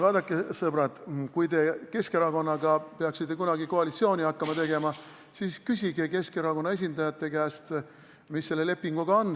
Vaadake, sõbrad, kui te peaksite kunagi Keskerakonnaga koalitsiooni hakkama tegema, siis küsige Keskerakonna esindajate käest, mis selle lepinguga on.